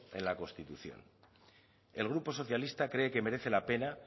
en la constitución el grupo socialista cree que merece la pena